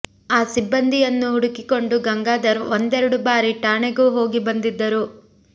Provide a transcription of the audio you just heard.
ಆ ಸಿಬ್ಬಂದಿಯನ್ನು ಹುಡುಕಿಕೊಂಡು ಗಂಗಾಧರ್ ಒಂದೆರಡು ಬಾರಿ ಠಾಣೆಗೂ ಹೋಗಿ ಬಂದಿದ್ದರು